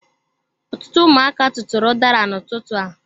Ọtụtụ ụmụaka tụtụrụ udara n'ututu a.